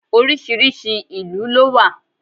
Oríṣiríṣi ìlú ló wà.